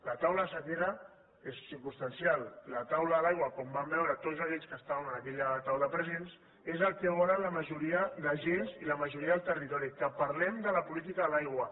la taula de la sequera és circumstancial la taula de l’aigua com vam veure tots aquells que estàvem en aquella taula presents és el que volen la ma joria d’agents i la majoria del territori que parlem de la política de l’aigua